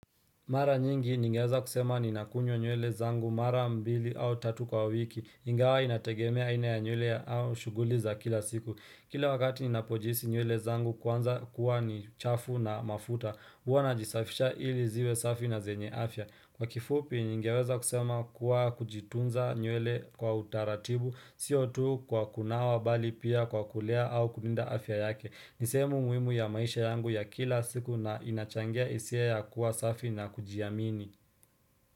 Mara nyingi ningeweza kusema nina kunywa nywele zangu mara mbili au tatu kwa wiki ingawa inategemea ina ya nywele au shughuli za kila siku Kila wakati ninapojihisi nywele zangu kwanza kuwa ni chafu na mafuta huwa najisafisha ili ziwe safi na zenye afya Kwa kifupi ningeweza kusema kuwa kujitunza nywele kwa utaratibu Sio tu kwa kunawa bali pia kwa kulea au kulinda afya yake ni sehemu muhimu ya maisha yangu ya kila siku na inachangia hisia ya kuwa safi na kujiamini.